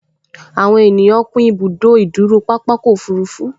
Àwọn ènìyàn kún ibùdó ìdúró pápákọ̀ òfurufú